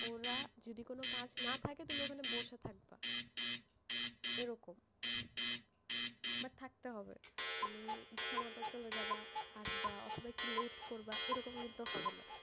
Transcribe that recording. ওরা, যদি কোনো কাজ না থাকে তুমি ওখানে বসে থাকবা, এরকম, but থাকবে হবে, তুমি ইচ্ছা মতো চলে যাবা, আসবা অথবা একটু late করবা, এরকম কিন্তু হবে না।